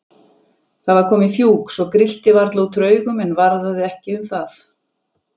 Það var komið fjúk svo grillti varla út úr augum, en varðaði ekki um það.